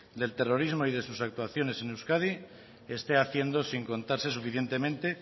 del terrorismo y de sus actuaciones en euskadi esté haciendo sin contarse suficientemente